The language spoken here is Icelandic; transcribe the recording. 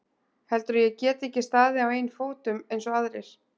Heldurðu að ég geti ekki staðið á eigin fótum eins og aðrir?